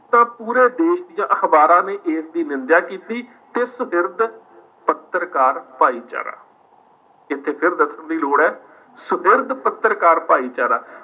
ਤਾਂ ਪੂਰੇ ਦੇਸ ਦੀਆਂ ਅਖ਼ਬਾਰਾਂ ਨੇ ਇਸਦੀ ਨਿੰਦਿਆ ਕੀਤੀ ਤੇ ਸੁਗਿਰਦ ਪੱਤਰਕਾਰ ਭਾਈਚਾਰਾ ਇੱਥੇ ਫਿਰ ਦੱਸਣ ਦੀ ਲੋੜ ਹੈ ਸੁਗਿਰਦ ਪੱਤਰਕਾਰ ਭਾਈਚਾਰਾ